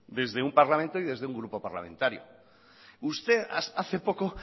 desde un parlamento y desde un grupo parlamentario usted hace poco